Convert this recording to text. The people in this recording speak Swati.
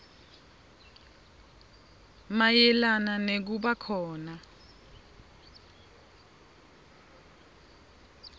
mayelana nekuba khona